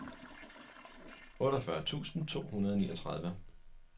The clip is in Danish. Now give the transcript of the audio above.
otteogfyrre tusind to hundrede og niogtredive